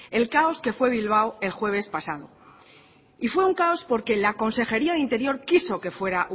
el caos que fue bilbao el jueves pasado y fue un caos porque la consejería de interior quiso que fuera